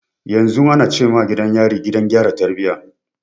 Yanzu ana ce ma gidan yari, Gidan gyara tarbiyya.